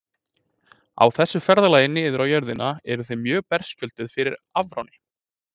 Á þessu ferðalagi niður á jörðina eru þau mjög berskjölduð fyrir afráni.